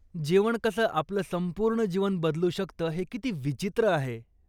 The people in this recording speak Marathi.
जेवण कसं आपलं संपूर्ण जीवन बदलू शकतं हे किती विचित्र आहे.